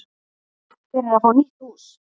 Þeir eru að fá nýtt hús.